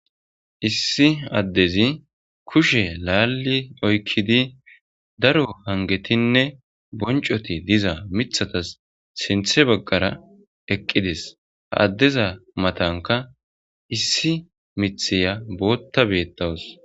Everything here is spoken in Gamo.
Issi addezi kushe laalli oykkidi daro hangetinne boncoti diza mithatas sinthe baggara eqqides ha addeza matanka issi mitheya bootta beettawus.